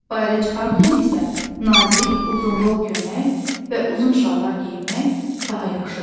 Bayra çıxarkən isə nazik, uzunqol köynək və uzun şalvar geyinmək daha yaxşıdır.